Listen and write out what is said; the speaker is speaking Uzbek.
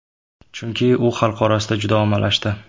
Chunki u xalq orasida juda ommalashdi.